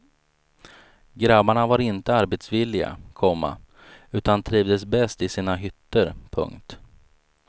Grabbarna var inte arbetsvilliga, komma utan trivdes bäst i sina hytter. punkt